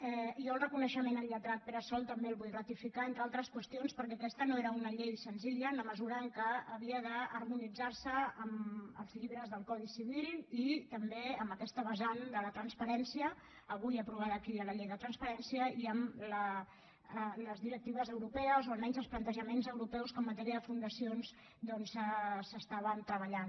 jo el reconeixement al lletrat pere sol també el vull ratificar entre altres qüestions perquè aquesta no era una llei senzilla en la mesura que havia d’harmonitzar se amb els llibres del codi civil i també amb aquesta vessant de la transparència avui aprovada aquí a la llei de transparència i amb les directives europees o almenys els plantejaments europeus que en matèria de fundacions doncs s’estaven treballant